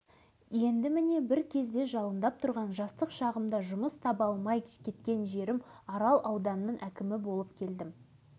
оны дәлелдеп жатудың өзі артық әкім болу табиғи қалпыңды бұзу емес шаруаның баласымын іскерлікпен айналыстым шетелдермен